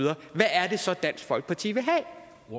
hvad er det så dansk folkeparti vil have